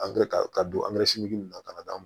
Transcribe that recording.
ka don na ka d'a ma